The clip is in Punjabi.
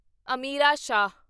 ਅਮੀਰਾ ਸ਼ਾਹ